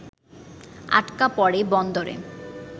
আটকা পড়ে বন্দরে